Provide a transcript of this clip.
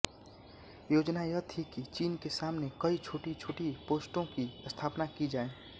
योजना यह थी कि चीन के सामने कई छोटीछोटी पोस्टों की स्थापना की जाए